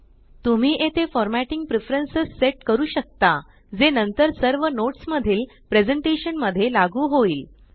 तुम्ही येथे formatting preferences set करू शकताजे नंतर सर्व नोट्स मधील प्रेज़ेंटेशन मध्ये लागू होईल